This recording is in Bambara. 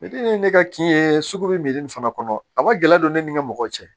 ye ne ka kin ye sugu bɛ nin fana kɔnɔ a bɛ gɛlɛya don ne ni n ka mɔgɔw cɛ